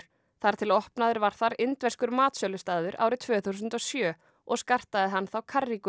þar til opnaður var þar indverskur matsölustaður árið tvö þúsund og sjö og skartaði hann þá